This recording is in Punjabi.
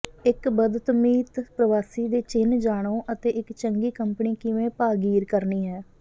ਇੱਕ ਬਦਤਮੀਤ ਪ੍ਰਵਾਸੀ ਦੇ ਚਿੰਨ੍ਹ ਜਾਣੋ ਅਤੇ ਇੱਕ ਚੰਗੀ ਕੰਪਨੀ ਕਿਵੇਂ ਭਾਗੀਰ ਕਰਨੀ ਹੈ